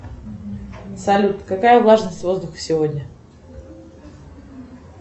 салют какая влажность воздуха сегодня